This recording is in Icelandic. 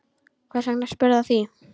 Hvers vegna spyrðu að því?